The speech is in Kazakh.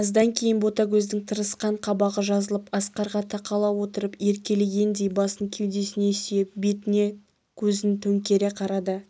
аздан кейін ботагөздің тырысқан қабағы жазылып асқарға тақала отырып еркелегендей басын кеудесіне сүйеп бетіне көзін төңкере қарады